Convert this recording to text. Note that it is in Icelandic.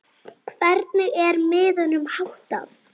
Hvernig er miðunum háttað?